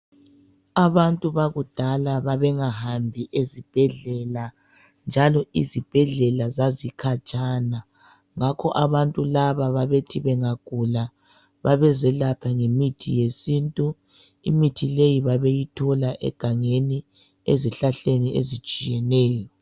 Abantu bakudala babengahambi ezibhedlela, njalo izibhedlela zazikhatshana. Ngakho abantu laba babethi bengagula babezelapha ngemithi yesintu. Imithi leyi babeyi thola egangeni ezihlahleni ezitshiyeneyo.